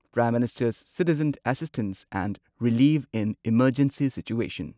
prime minister's citizen assistance and relief in emergency situation